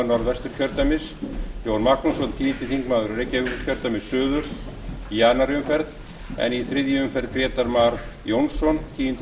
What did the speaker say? norðvesturkjördæmis jón magnússon tíundi þingmaður reykjavíkurkjördæmis suður í tuttugasta og þriðju umferð en í þriðju umferð grétar mar jónsson tíundi